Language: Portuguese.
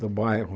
Do bairro.